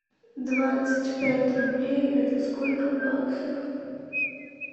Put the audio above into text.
двадцать пять рублей это сколько в баксах